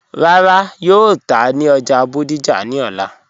Rárá, yóò tà ní ọ́já Bódìjà ni ọ̀lá.